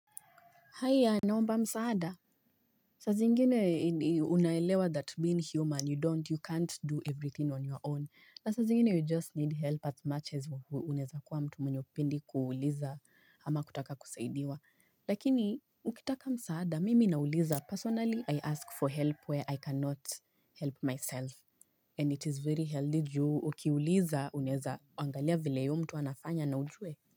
Haya naomba msaada sa zingine unaelewa that being human you don't you can't do everything on your own na saa zingine you just need help as much as unaeza kuwa mtu mwenye upendi kuuliza ama kutaka kusaidiwa Lakini ukitaka msaada mimi nauliza personally I ask for help where I cannot help myself And it is very healthy juu ukiuliza unaeza angalia vile huyo mtu anafanya na ujue.